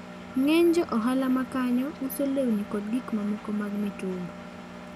Ng'eny jo ohala ma kanyo uso lewni koda gik mamoko mag mitumba.